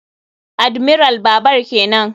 Admiral babar kenan.